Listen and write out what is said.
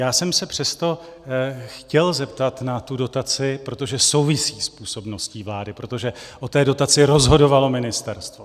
Já jsem se přesto chtěl zeptat na tu dotaci, protože souvisí s působností vlády, protože o té dotaci rozhodovalo ministerstvo.